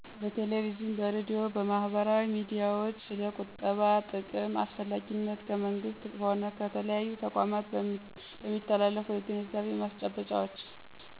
በቴሌቪዥን፤ በሬድዮ፤ በማህበራዊ ሚዲያዎች ስለ ቁጠባ ጥቅም አስፈላጊነት ከመንግሥት ሆነ ከተለያዩ ተቋማት በሚተላለፉ የግንዛቤ ማስጨበጫዎች።